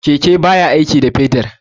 Keke baya aiki da fetur.